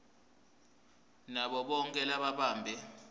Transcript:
nabo bonkhe lababambe